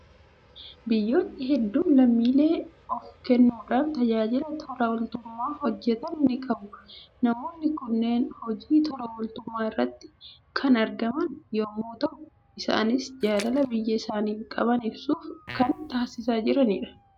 Biyyoonni hedduun lammiilee of kennuudhaan tajaajila tola ooltummaa hojjetan ni qabu. Namoonni kunneen hojii tola ooltummaa irratti kan argaman yommuu ta'u, isaanis jaalala biyya isaaniif qaban ibsuuf kan taasisaa jiranidha.